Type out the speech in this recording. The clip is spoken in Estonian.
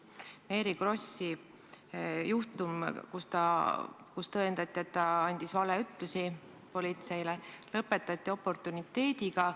Mary Krossi juhtum, kus tõendati, et ta andis politseile valeütlusi, lõpetati oportuniteediga.